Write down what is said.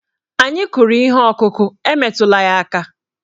Anyị kụrụ ihe ọkụkụ, e metụla ya aka!